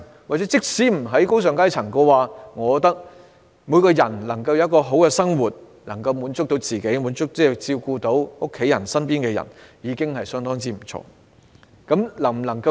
即使不是進身高尚階層，我認為只要所有人皆能夠好好生活，能夠滿足自己，照顧家人及身邊的人，亦已相當不錯。